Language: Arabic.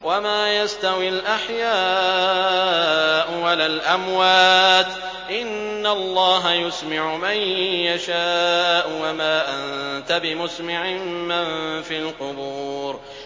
وَمَا يَسْتَوِي الْأَحْيَاءُ وَلَا الْأَمْوَاتُ ۚ إِنَّ اللَّهَ يُسْمِعُ مَن يَشَاءُ ۖ وَمَا أَنتَ بِمُسْمِعٍ مَّن فِي الْقُبُورِ